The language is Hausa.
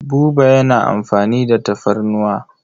Buba yana amfani da tafarnuwa.